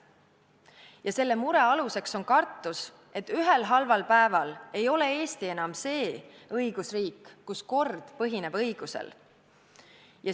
Ja selle mure alus on kartus, et ühel halval päeval ei ole Eesti enam see õigusriik, kus kord põhineb õigusel.